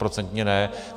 Stoprocentně ne.